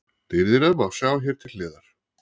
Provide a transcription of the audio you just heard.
Dýrðina má sjá hér til hliðar.